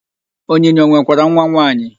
Onyinye o nwekwara nwanwaanyị?